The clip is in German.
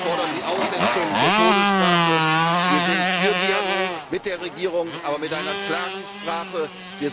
Wir fordern die Aussetzung der Todesstrafe. Wir sind für einen Dialog mit der Regierung, aber mit einer klaren Botschaft.